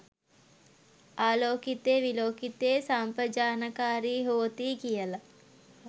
ආලෝකිතේ විලෝකිතේ සම්පජානකාරී හෝති කියල.